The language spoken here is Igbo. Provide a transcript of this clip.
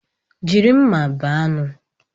Jiri mma bee anụ.